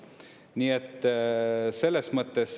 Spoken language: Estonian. Nii et selles mõttes.